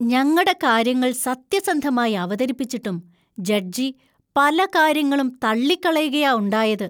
ഞങ്ങടെ കാര്യങ്ങൾ സത്യസന്ധമായി അവതരിപ്പിച്ചിട്ടും ജഡ്ജി പല കാര്യങ്ങളും തള്ളിക്കളയുകാ ഉണ്ടായത്.